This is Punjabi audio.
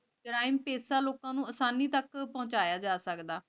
ਜੁਰੈਮ ਪੇਸ਼ਾ ਲੋਗਨ ਨੂ ਆਸਾਨੀ ਤਕ ਪੋਹ੍ਨ੍ਚਾਯਾ ਜਾ ਸਕਦਾ